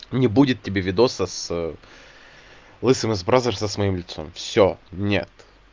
не будет тебе видео с лысым из бразерса с моим лицом всё нет